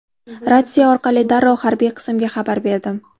Ratsiya orqali darrov harbiy qismga xabar berdim.